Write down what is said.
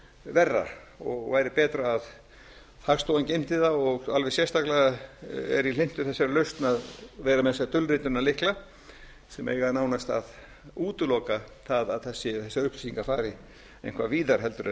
verra og væri betra að hagstofan geymdi það og alveg sérstaklega er ég hlynntur þessari lausn að vera með þessa dulritunarlykla sem eiga nánast að útiloka það að þessar upplýsingar fari eitthvað víðar